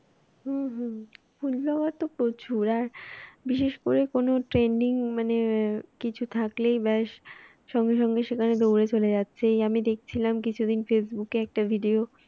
হুম হুম food blogger তো প্রচুর আর বিশেষ করে কোনো trending মানে কিছু থাকলেই ব্যাশ সঙ্গে সঙ্গে সেখানে দৌড়ে চলে যাচ্ছে এই আমি দেখছিলাম কিছুদিন ফেসবুকে একটা video